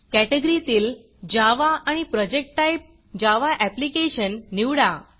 category तील Javaजावा आणि प्रोजेक्ट टाईप जावा ऍप्लिकेशन निवडा